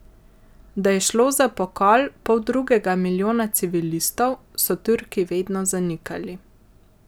Da je šlo za pokol poldrugega milijona civilistov, so Turki vedno zanikali.